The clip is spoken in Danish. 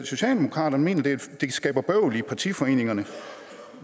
socialdemokraterne mener at det skaber bøvl i partiforeningerne